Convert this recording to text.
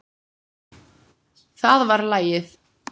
Það var lagið!